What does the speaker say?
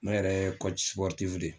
Ne yɛrɛ ye de